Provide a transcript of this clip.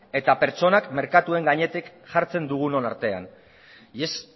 eta pertsonak merkatuen gainetik jartzen dugunon artean y es